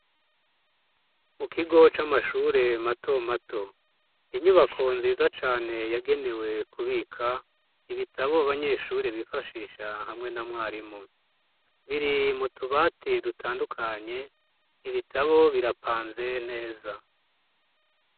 Mukigo c'amashure matomato; inyubako nziza cane yagenewe kubika ibitabo abanyeshure bifashisha hamwe na mwarimu biri m'utubati dutandukanye. Ibitabo birapanze neza.